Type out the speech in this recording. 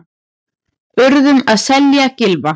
Urðum að selja Gylfa